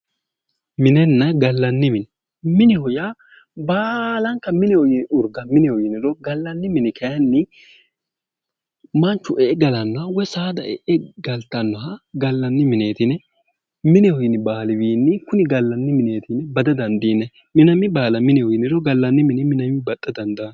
Minenna gallanni mine mineho yaa baalanka mineho yini urga mineho yiniro gallanni mini kayiinni manchu e"e galannoha woyi saada e'e galtannoha gallanni mineeti yine kuni gallanni mineeti yine kuni gallanni mineeti yine bada dandiinanni minami baala mineho yiniro gallanni mini minnayiiwi baxxa dandaanno